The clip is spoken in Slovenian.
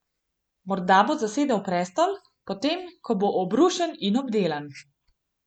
Morda bo zasedel prestol, potem ko bo obrušen in obdelan.